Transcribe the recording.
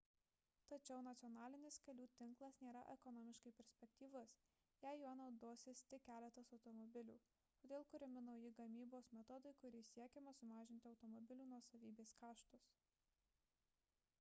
tačiau nacionalinis kelių tinklas nėra ekonomiškai perspektyvus jei juo naudosis tik keletas automobilių todėl kuriami nauji gamybos metodai kuriais siekiama sumažinti automobilių nuosavybės kaštus